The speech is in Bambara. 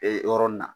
Ee yɔrɔnin na